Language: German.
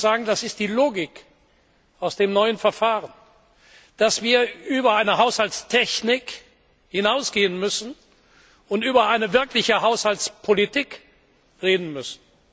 Ich will Ihnen sagen, das ist die Logik aus dem neuen Verfahren, dass wir über eine Haushaltstechnik hinausgehen und über eine wirkliche Haushaltspolitik reden müssen.